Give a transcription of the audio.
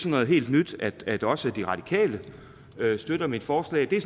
noget helt nyt at også de radikale støtter mit forslag det